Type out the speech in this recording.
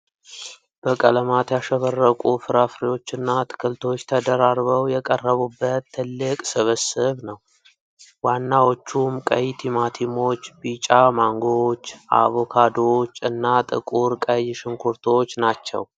በቀለማት ያሸበረቁ ፍራፍሬዎችና አትክልቶች ተደራርበው የቀረቡበት ትልቅ ስብስብ ነው። ዋናዎቹም ቀይ ቲማቲሞች፣ ቢጫ ማንጎዎች፣ አቮካዶዎች፣ እና ጥቁር ቀይ ሽንኩርቶች ናቸው?